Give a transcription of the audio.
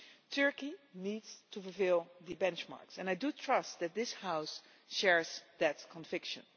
Turkey needs to fulfil the benchmarks and I do trust that this House shares that conviction.